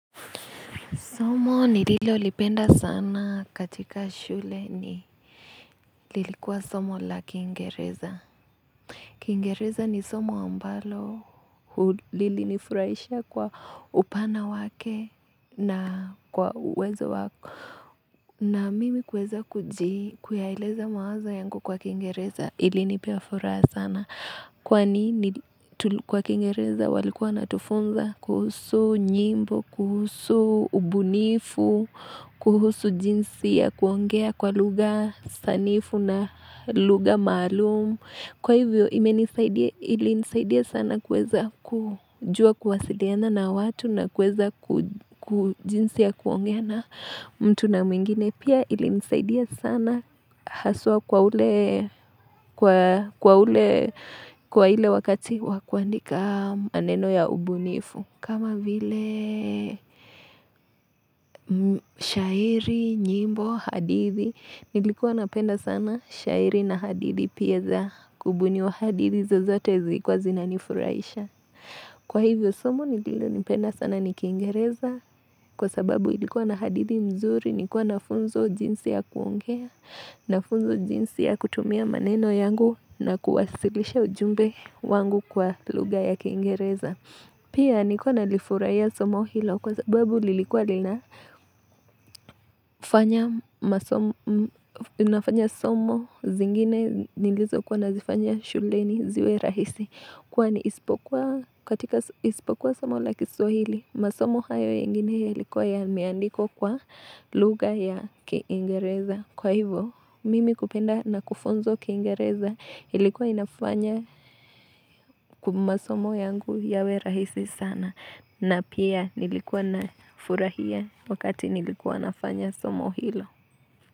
Somo nililolipenda sana katika shule ni, lilikuwa somo la kingereza. Kingereza ni somo ambalo lilinifurahisha kwa upana wake na kwa uwezo wa na mimi kuweza kuji kuyaeleza mawazo yangu kwa kingereza ilinipea furaha sana. Kwani nili kwa kingereza walikuwa wanatufunza kuhusu nyimbo kuhusu ubunifu. Kuhusu jinsi ya kuongea kwa lugha sanifu na lugha maalumu. Kwa hivyo ilinisaidia sana kuweza kujua kuwasiliana na watu na kuweza kujinsi ya kuongea na mtu na mwingine. Pia ilinisaidia sana haswa kwa ule kwa ule wakati wakuandika maneno ya ubunifu. Kama vile shairi, nyimbo, hadithi, nilikuwa napenda sana shairi na hadithi pia za kubuniwa hadithi zozote zilikuwa zinanifurahisha. Kwa hivyo somo, nililolipenda sana ni kingereza kwa sababu ilikuwa na hadithi nzuri, nikuwa na funzwa jinsi ya kuongea, na funzowa jinsi ya kutumia maneno yangu na kuwasilisha ujumbe wangu kwa lugha ya kingereza. Pia nilikuwa nalifurahia somo hilo kwa sababu lilikuwa linafanya somo zingine nilizo kuwa nazifanya shuleni ziwe rahisi. Kwani isipokuwa somo la kiswahili, masomo hayo yengine yalikuwa yameandikwa kwa lugha ya kingereza. Kwa hivo, mimi kupenda na kufunzwa kingereza ilikuwa inafanya kumasomo yangu yawe rahisi sana. Na pia nilikuwa nafurahia wakati nilikuwa nafanya somo hilo.